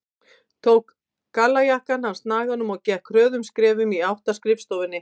Tók gallajakkann af snaganum og gekk hröðum skrefum í átt að skrifstofunni.